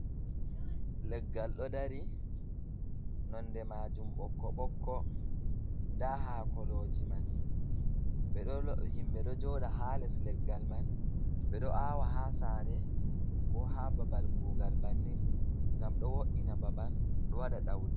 Leggal ɗo dari nonde majum ɓokko-ɓokko nda haakoloji man, be himɓe ɗo joɗa haa les leggal man, ɓeɗo awa haa sare, ko haa babal kugal bannin ngam ɗo wo'ina babal ɗo waɗa ɗaudi.